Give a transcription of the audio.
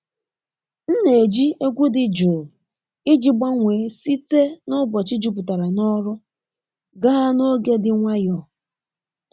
M na-eji egwu dị jụụ iji gbanwee site n’ụbọchị jupụtara n’ọrụ gaa n’oge dị nwayọọ.